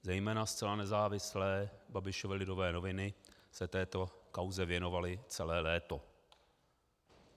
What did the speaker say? Zejména zcela nezávislé Babišovy Lidové noviny se této kauze věnovaly celé léto.